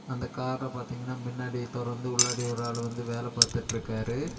அந்த கார பார்த்தீங்கன்னா முன்னாடி துறந்து உள்ளாடி ஒரு ஆளு வந்து வேலை பார்த்துட்ருக்காரு.